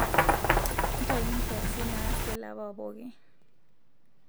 ntayu nkiasin naasi ele apa pooki